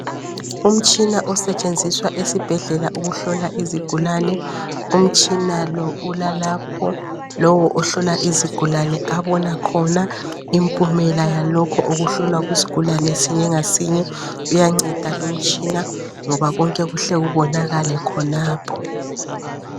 Umtshina osetshenziswa esibhedlela ukuhlola izigulane. Umtshina lo ulalapho lowo ohlola izigulane abona khona impumela yalokhu okuhlolwa kusigulane sinye ngasinye uyanceda lumtshina, ngoba konke kuhle kubonakale khonapho.